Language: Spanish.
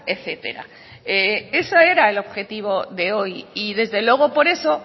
etcétera ese era el objetivo de hoy y desde luego por eso